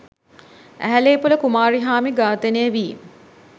ඇහැලේපොළ කුමාරිහාමි ඝාතනය වී